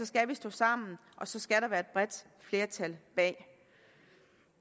skal vi stå sammen og så skal der være et bredt flertal bag